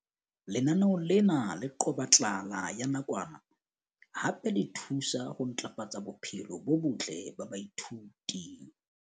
Lenaneo lena le qoba tlala ya nakwana hape le thusa ho ntlafatsa bophelo bo botle ba baithuti.